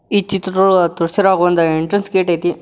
ಈ ಚಿತ್ರದೊಳಗ ತೋರಿಸಿರುವ ಹಾಗ್ ಒಂದು ಎಂಟ್ರೆನ್ಸ್ ಗೇಟ್ ಐತಿ.